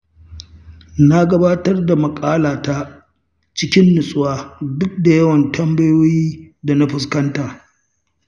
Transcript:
Na gabatar da maƙalata cikin nutsuwa, duk da yawan tambayoyin da na fuskanta.